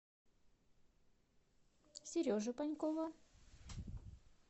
сережи панькова